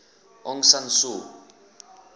aung san suu